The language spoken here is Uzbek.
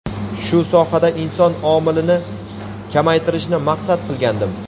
shu sohada inson omilini kamaytirishni maqsad qilgandim.